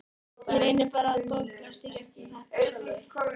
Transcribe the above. Ég reyni bara að bögglast í gegnum þetta sjálfur.